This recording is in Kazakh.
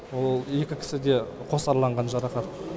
ол екі кісіде қосарланған жарақат